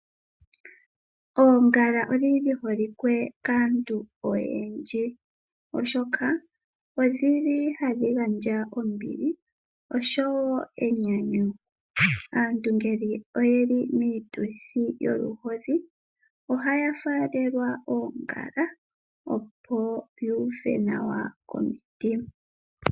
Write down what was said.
Oongala odhi holike kaantu oyendji, oshoka odhili hadhi gandja ombili oshowo, aantu ngele oye li moshituthi sholuhodhi ohaa faaalelwa oongala opo yu uve nawa komutima.